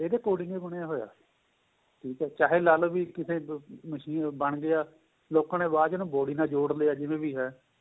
ਇਹਦੇ according ਹੀ ਬਣਿਆ ਹੋਇਆ ਠੀਕ ਏ ਚਾਹੇ ਲਾਲੋ ਵੀ ਕਿਸੇ machine ਬਣ ਗਿਆ ਲੋਕਾਂ ਨੇ ਬਾਅਦ ਵਿੱਚ body ਨਾਲ ਜੋੜ ਲਿਆ ਜਿਵੇਂ ਵੀ ਏ